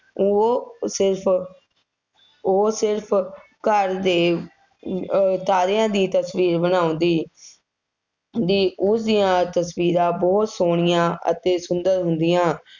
ਉਹ ਸਿਰਫ, ਉਹ ਸਿਰਫ ਘਰ ਦੇ ਅਹ ਤਾਰਿਆਂ ਦੀ ਤਸਵੀਰ ਬਣਾਉਂਦੀ, ਦੀ ਉਸ ਦੀਆਂ ਤਸਵੀਰਾਂ ਬਹੁਤ ਸੋਹਣੀਆਂ ਅਤੇ ਸੁੰਦਰ ਹੁੰਦੀਆਂ,